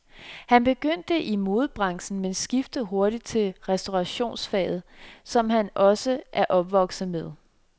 Han begyndte i modebranchen, men skiftede hurtigt til restaurationsfaget, som han også er opvokset med.